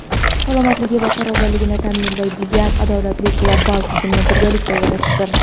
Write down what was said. salomatligi va farovonligini ta’minlaydigan adolatli global tizimni birgalikda yaratishdir.